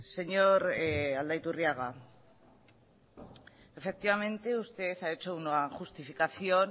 señor aldaiturriaga efectivamente usted ha hecho una justificación